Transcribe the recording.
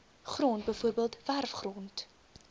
grond bv werfgrond